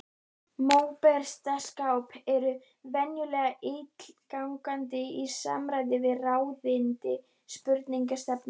Móbergsstapar eru venjulega ílangir í samræmi við ráðandi sprungustefnu.